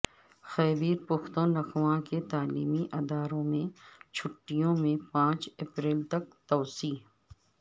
خیبرپختونخوا کے تعلیمی اداروں میں چھٹیوں میں پانچ اپریل تک توسیع